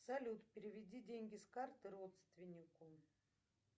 салют переведи деньги с карты родственнику